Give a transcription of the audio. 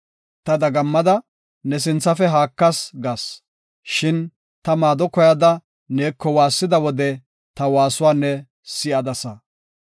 Ta dagammada, “Ne sinthafe haakas” gas; shin ta maado koyada neeko waassida wode, ta waasuwa ne si7adasa.